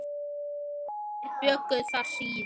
Þeir bjuggu þar síðan.